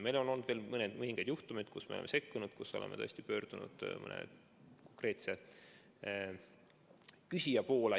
Meil on olnud veel mõningaid juhtumeid, kus me oleme sekkunud, kus me oleme pöördunud mõne konkreetse küsija poole.